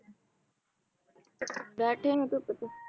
ਬੈਠੇ ਧੁੱਪ ਚ